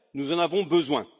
Nous en avons besoin.